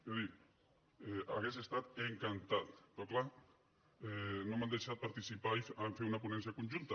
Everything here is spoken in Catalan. i jo dic hauria estat encantat però clar no m’han deixat participar a fer una ponència conjunta